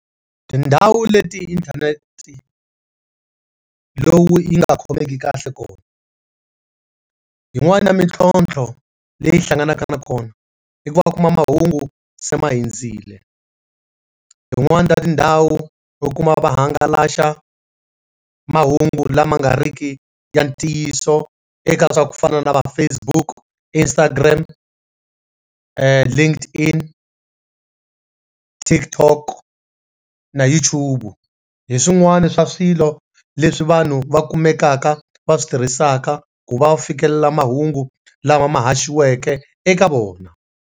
Tindhawu leti inthanete lowu yi nga khomeki kahle kona yi n'wani ya mintlhotlho leyi hlanganaka na kona i ku va va kuma mahungu se ma hindzile, yi n'wani ta tindhawu u kuma vahangalasa mahungu lama nga riki ya ntiyiso eka swa ku fana na va Facebook, Instagram, eeh , Tiktok na YouTube, hi swin'wana swa swilo leswi vanhu va kumekaka va switirhisaka ku va fikelela mahungu lama ma haxiweke eka vona.